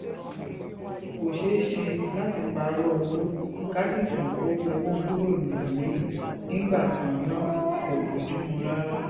kò ṣeé ṣe láti pààrọ̀ owó ká sì tún kó owó kúrò nílùú nígbà kan náà kò bojumu rárá